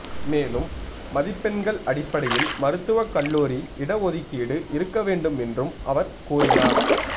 மேலும் மதிப்பெண்கள் அடிப்படையில் மருத்துவக் கல்லூரி இட ஒதுக்கீடு இருக்கவேண்டும் என்றும் அவர் கூறினார்